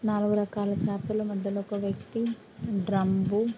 నాలుగు రకాల చేపల మధ్యలో ఒక వ్యక్తి. డ్రమ్బు--